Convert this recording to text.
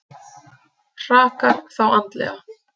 Hrakar þá andlega.